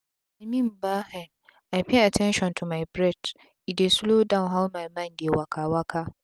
i mean bah hen i pay at ten tion to my breath e dey slow down how my mind dey waka waka.